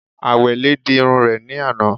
Àwẹ̀lé di irun rẹ̀ ní àná